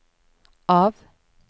av